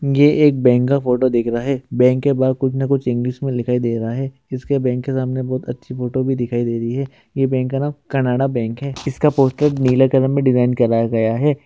ये एक बैंक का फोटो दिख रहा है बैंक के बाहर कुछ ना कुछ इंग्लिश में दिखाई दे रहा है इसके बैंक सामने बड़ी अच्छी फोटो भी दिखाई दे रही है ये बैंक का नाम का कनाडा बैंक है इसका पोस्टर नीले कलर में डिजाइन करा गया है।